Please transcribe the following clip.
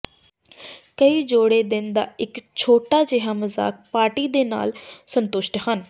ਕਈ ਜੋੜੇ ਦਿਨ ਦਾ ਇੱਕ ਛੋਟਾ ਜਿਹਾ ਮਜ਼ਾਕ ਪਾਰਟੀ ਦੇ ਨਾਲ ਸੰਤੁਸ਼ਟ ਹਨ